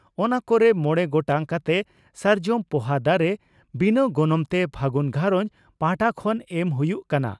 ᱚᱱᱟ ᱠᱚᱨᱮ ᱢᱚᱬᱮ ᱜᱚᱴᱟᱝ ᱠᱟᱛᱮ ᱥᱟᱨᱡᱚᱢ ᱯᱚᱦᱟ ᱫᱟᱨᱮ ᱵᱤᱱᱟᱹ ᱜᱚᱱᱚᱝᱛᱮ 'ᱯᱷᱟᱹᱜᱩᱱ ᱜᱷᱟᱨᱚᱸᱡᱽ' ᱯᱟᱦᱟᱴᱟ ᱠᱷᱚᱱ ᱮᱢ ᱦᱩᱭᱩᱜ ᱠᱟᱱᱟ ᱾